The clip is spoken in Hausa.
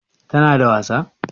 Tana da wasa?